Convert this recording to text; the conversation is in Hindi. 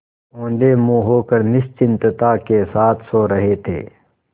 औंधे मुँह होकर निश्चिंतता के साथ सो रहे थे